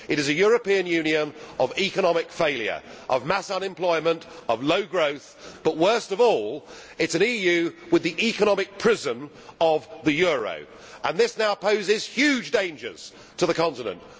It is a European Union of economic failure, of mass unemployment, of low growth but, worst of all, it is an EU with the economic prism of the euro and this now poses huge dangers to the continent.